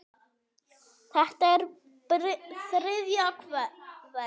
Þetta er þriðja vers.